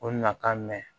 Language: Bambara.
O na ka mɛn